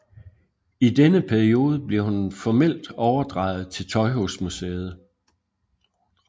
I denne periode bliver hun formelt overdraget til Tøjhusmuseet